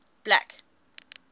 black